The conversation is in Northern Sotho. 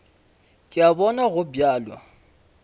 ke a bona go bjalo